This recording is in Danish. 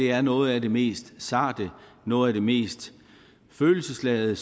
er noget af det mest sarte noget af det mest følelsesladede